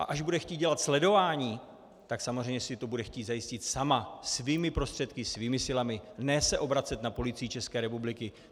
A až bude chtít dělat sledování, tak samozřejmě si to bude chtít zajistit sama, svými prostředky, svými silami, ne se obracet na Policii České republiky.